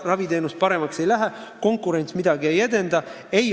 Raviteenus paremaks ei lähe ja konkurents midagi ei edenda.